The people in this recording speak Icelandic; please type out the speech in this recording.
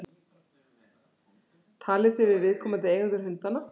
Talið þið við viðkomandi eigendur hundanna?